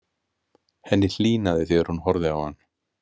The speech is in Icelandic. Henni hlýnaði þegar hún horfði á hann.